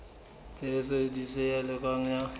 tshebediso e sa lokang ya